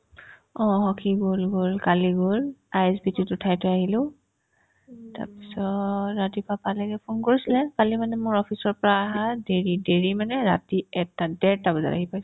অ, সি গ'ল গ'ল কালি গ'ল ISBT ত উঠাই থৈ আহিলো তাৰপিছত ৰাতিপুৱা পালেগে ফোন কৰিছিলে কালি মানে মোৰ office ৰ পৰা আহাত দেৰি দেৰি মানে ৰাতি এটা ডেৰটা বাজাত আহি পাইছো